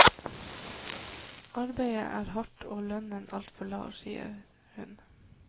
Arbeidet er hardt og lønnen altfor lav, sier hun.